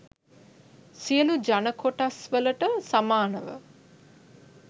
සියලූ ජන කොටස්වලට සමානව